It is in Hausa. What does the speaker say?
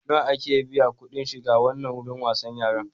Nawa ake biya kuɗin shiga wannan wurin wasan yaran?